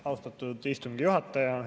Austatud istungi juhataja!